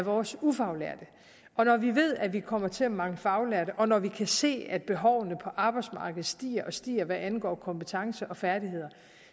af vores ufaglærte og når vi ved at vi kommer til at mangle faglærte og når vi kan se at behovene på arbejdsmarkedet stiger og stiger hvad angår kompetencer og færdigheder